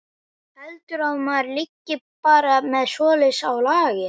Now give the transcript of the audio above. Heldurðu að maður liggi bara með svoleiðis á lager.